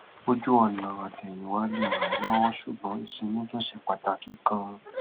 ojú ọnà àtẹyìnwá lè ràn ẹ lọwọ ṣùgbọn ìsinmi tún ṣe pàtàkì gan an